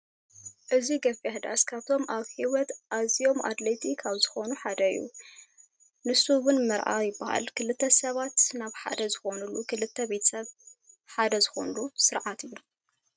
እዙይ ገፊሕ ዳስ ካብቶም ኣብ ሂወት ኣዝዮም ኣድለይቲ ካብ ዝኮነ ሓደ እዩ። ንሱ እውን መርዓ ይብሃል ክልተ ሰባት ናብ ሓደ ዝኮንሉ ክልተ ቤተሰብ ሓደ ዝኮኑ ስርዓት እዩ።